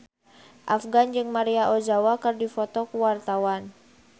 Afgan jeung Maria Ozawa keur dipoto ku wartawan